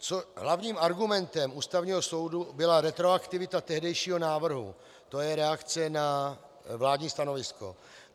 Hlavním argumentem Ústavního soudu byla retroaktivita tehdejšího návrhu, to je reakce na vládní stanovisko.